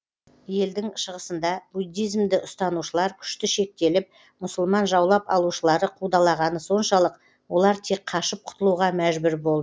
елдің шығысында буддизмді ұстанушылар күшті шектеліп мұсылман жаулап алушылары қудалағаны соншалық олар тек қашып құтылуға мәжбүр болды